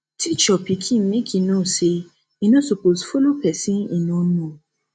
teach your pikin make e know say e no suppose follow pesin e no know